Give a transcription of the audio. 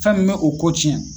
Fɛn min be o ko cɛn